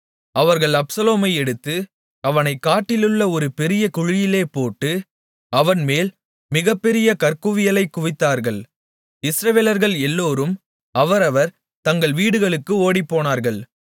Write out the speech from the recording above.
அவர்கள் அப்சலோமை எடுத்து அவனைக் காட்டிலுள்ள ஒரு பெரிய குழியிலே போட்டு அவன்மேல் மிகப் பெரிய கற்குவியலைக் குவித்தார்கள் இஸ்ரவேலர்கள் எல்லோரும் அவரவர் தங்கள் வீடுகளுக்கு ஓடிப்போனார்கள்